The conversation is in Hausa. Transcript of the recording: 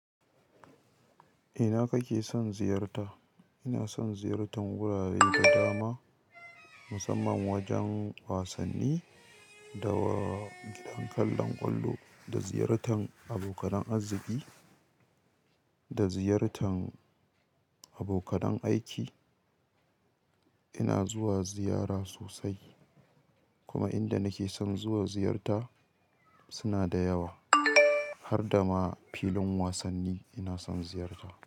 Ina kake son ziyarta? Ina son ziyartan wurare da dama, musamman wajen wasanni, da gidan kallon ƙwallo, da ziyartan abokanan arziki, da ziyartan abokanan aiki. Ina zuwa ziyara sosai, kuma inda nake son zuwa ziyarta sunada yawa, harda ma filin wasanni ina son ziyarta.